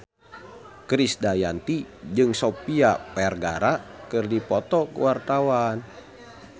Krisdayanti jeung Sofia Vergara keur dipoto ku wartawan